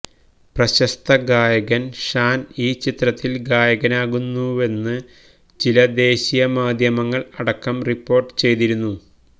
പ്രശസ്ത ഗായകന് ഷാന് ഈ ചിത്രത്തില് ഗായകനാകുന്നുവെന്ന് ചില ദേശീയ മാധ്യമങ്ങള് അടക്കം റിപ്പോര്ട്ട് ചെയ്തിരുന്നു